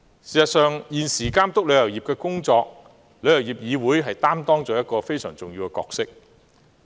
事實上，現時旅議會在監督旅遊業的工作方面，擔當了一個非常重要的角色。